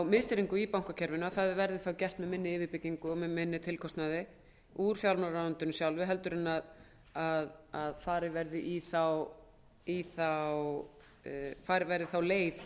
miðstýringu í bankakerfinu verði það þá gert með minni yfirbyggingu og mun minni tilkostnaði úr fjármálaráðuneytinu sjálfu en að farin verði sú leið